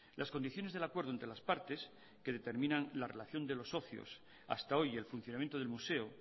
las condiciones del acuerdo entre las partes que determinan la relación de los socios hasta hoy y el funcionamiento del museo